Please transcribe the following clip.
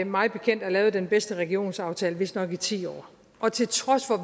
mig bekendt er lavet den bedste regionsaftale i vistnok ti år og til trods for at